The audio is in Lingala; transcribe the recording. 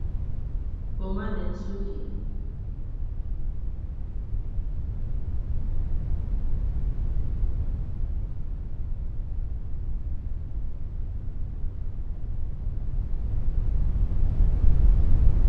Pommade ya suki, pommade ya suki.